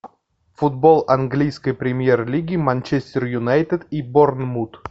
футбол английской премьер лиги манчестер юнайтед и борнмут